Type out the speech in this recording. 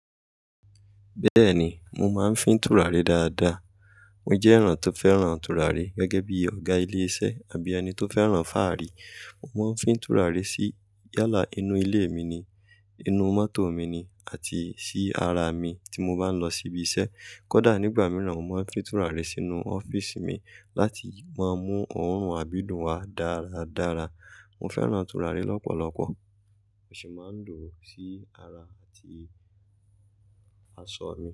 Bẹ́ẹ̀ni, mo máa ń fín tùràrí dáadáa. Mo jẹ́ èèyàn tó fẹ́ràn tùràrí gẹ́gẹ́ bí ọ̀gá ilé iṣẹ́ àbí ẹni tó fẹ́ràn fáàrí. Mo máa ń fín tùràrí sí yálà inú ilé mi ni, inú mọ́tò mi ni àti sí ara mi tí mo bá ń lọ síbi iṣẹ́. Kódà nígbà mìíràn, mo máa ń fín tùràrí sínú ọ́fíísì mi láti máa mú òórùn àbídùn wá dáradára. Mo fẹ́ràn tùràrí lọ́pọ̀lọpọ̀, mo sì máa ń lò ó sí ara àti aṣọ mi.